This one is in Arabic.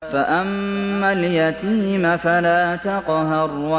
فَأَمَّا الْيَتِيمَ فَلَا تَقْهَرْ